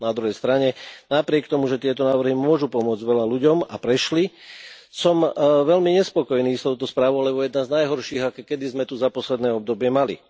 Na druhej strane, napriek tomu, že tieto návrhy môžu pomôcť veľa ľuďom a prešli, som veľmi nespokojný s touto správou, lebo je tá z najhorších, aké sme tu kedy za posledné obdobie mali.